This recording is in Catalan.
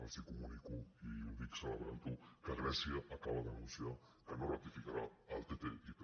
els comunico i ho dic celebrant ho que grècia acaba d’anunciar que no ratificarà el ttip